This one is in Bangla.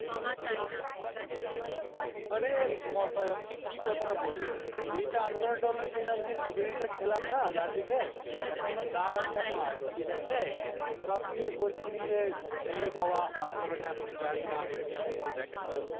অরে মশাই আপনি কি কথাটা বললেন এই যে আন্দোলনটা হলো সেদিন আমি যে দু বারীটা খেলাম না লাঠিতে এখনো দাগ আছে আমার ঠিক আছে তো আপনি বলছেন যে এ বাবা আন্দোলনে আপনি জাননা ABPAnanda দেখেন না